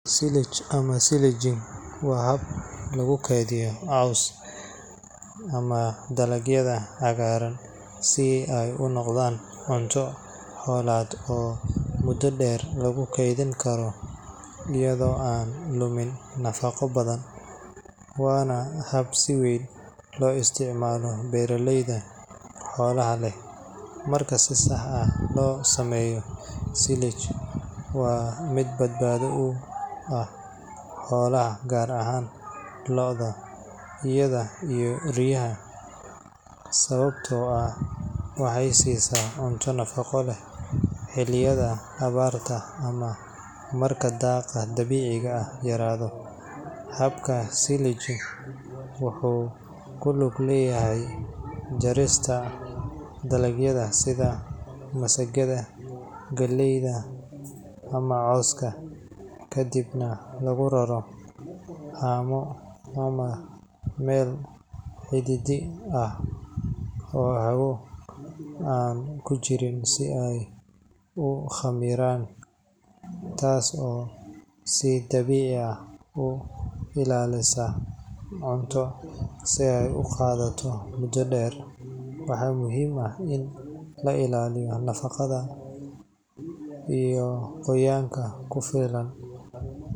Silage ama silaging waa hab lagu kaydiyo cawska ama dalagyada cagaaran si ay u noqdaan cunto xoolaad oo muddo dheer lagu keydin karo iyadoo aan lumin nafaqo badan, waana hab si weyn loo isticmaalo beeraleyda xoolaha leh. Marka si sax ah loo sameeyo, silage waa mid badbaado u ah xoolaha, gaar ahaan lo’da, idaha iyo riyaha, sababtoo ah waxay siisaa cunto nafaqo leh xilliyada abaarta ama marka daaqa dabiiciga ah yaraado. Habka silaging wuxuu ku lug leeyahay jarista dalagyada sida masagada, galleyda ama cawska, kadibna lagu raraa haamo ama meel cidhiidhi ah oo hawo aan ku jirin si ay u khamiiraan, taas oo si dabiici ah u ilaalisa cunto si ay u qaadato muddo dheer. Waxaa muhiim ah in la ilaaliyo nadaafadda, qoyaan ku filan.